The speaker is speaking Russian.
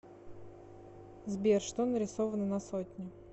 сбер что нарисовано на сотне